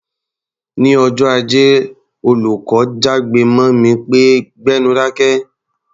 Ní ọjọ́ Ajé, olùkọ́ jágbe mọ́ mi pé "gbẹ́nu dákẹ́!"